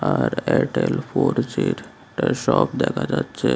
আর Airtel four জির shop দেখা যাচ্ছে।